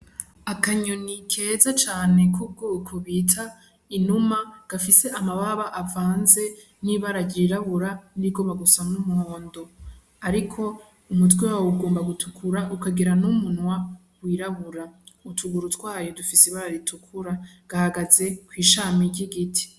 Akanyoni keza cane k'ubwoko bita inuma gafise amababa avanze n'ibara ryirabura n'irigomba gusa n'umuhondo, ariko umutwe wawo ugomba gutukura ukagira n'umunwa w'irabura, utuguru tw'ako dufise ibara ritukura, gahagaze kw'ishami ry'igiti.